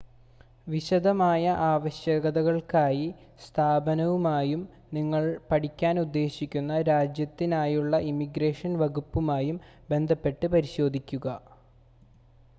വിശദമായ ആവശ്യകതകൾക്കായി സ്ഥാപനവുമായും നിങ്ങൾ പഠിക്കാൻ ഉദ്ദേശിക്കുന്ന രാജ്യത്തിനായുള്ള ഇമിഗ്രേഷൻ വകുപ്പുമായും ബന്ധപ്പെട്ട് പരിശോധിക്കുക